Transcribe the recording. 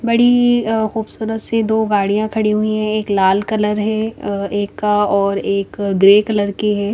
बड़ी अः खूबसूरत सी दो गाड़िया खड़ी हुई है एक लाल कलर है अः एक का और एक ग्रे कलर की है।